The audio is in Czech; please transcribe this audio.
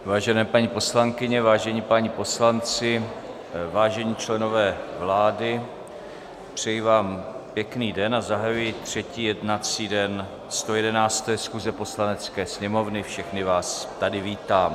Vážené paní poslankyně, vážení páni poslanci, vážení členové vlády, přeji vám pěkný den a zahajuji třetí jednací den 111. schůze Poslanecké sněmovny, všechny vás tady vítám.